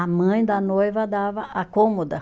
A mãe da noiva dava a cômoda.